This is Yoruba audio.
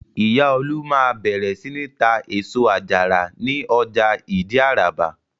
Ìyá Olú máa bẹ̀rẹ̀ sí ní tá èso àjàrà ní ọjà Ìdí-Àràbà.